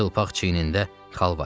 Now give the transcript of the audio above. Çılpaq çiynində xal var idi.